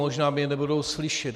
Možná mě nebudou slyšet.